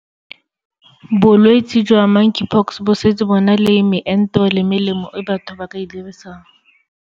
Bolwetse jwa Monkeypox bo setse bo na le meento le melemo e batho ba ka e dirisang.